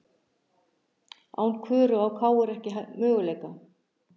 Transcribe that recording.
Án Köru á KR ekki möguleika